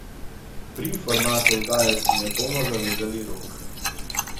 Pri formatu oddaje si ne bomo zavezali rok.